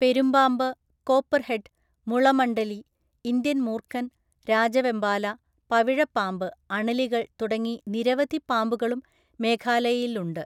പെരുമ്പാമ്പ്, copperhead, മുളമണ്ഡലി, Indian മൂർഖൻ, രാജവെമ്പാല, പവിഴ പാമ്പ്, അണലികൾ തുടങ്ങി നിരവധി പാമ്പുകളും മേഘാലയയിലുണ്ട്.